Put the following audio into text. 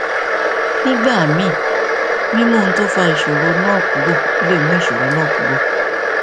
nígbà míì mímú ohun tó fa ìṣòro náà kúrò lè mú ìṣòro náà kúrò